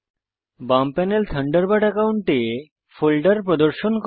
বাম panel Thunderbird একাউন্টে folder প্রদর্শন করে